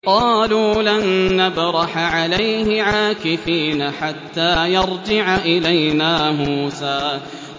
قَالُوا لَن نَّبْرَحَ عَلَيْهِ عَاكِفِينَ حَتَّىٰ يَرْجِعَ إِلَيْنَا مُوسَىٰ